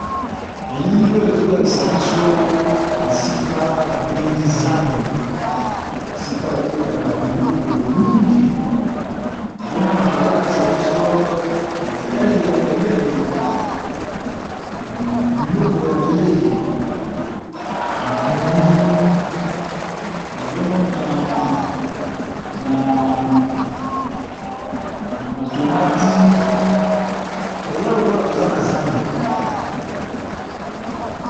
Elili oyo ezokatisa biso esika ba bengi zando esika batekaka biloko mingi nazomona bazolakisa biso etaleli ya pembeni nazomona ba matungulu na ba tomates eza lokola toza na zandu.